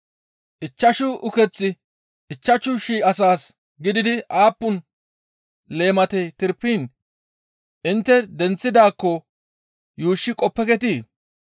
Ichchashu ukeththi ichchashu shii asaas gididi aappun leematey tirpiin intte denththidaakko yuushshi qoppeketii?